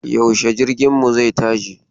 Yaushe jirginmu zai tashi?